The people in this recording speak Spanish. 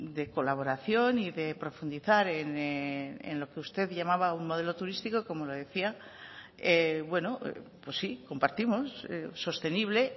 de colaboración y de profundizar en lo que usted llevaba un modelo turístico como lo decía pues sí compartimos sostenible